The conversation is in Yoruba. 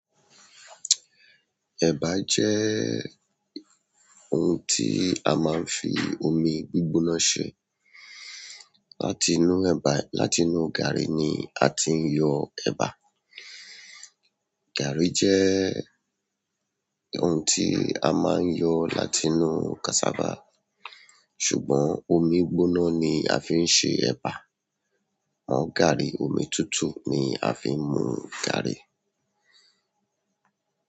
Ẹ̀bà jẹ́ ohun tí a máa ń fi omi gbígbóná ṣe. Láti inú ẹ̀bà, láti inú gàrí ni a ti ń yọ ẹ̀bà. Gàrí jẹ́ ohun tí a máa ń yọ láti inú cassava. Ṣùgbọ́n omi gbóná ni a fi ń ṣe ẹba. Gaàrí, omi tútù ni a fi ń mú gàrí.